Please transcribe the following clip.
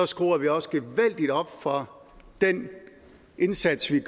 skruer vi også gevaldigt op for den indsats vi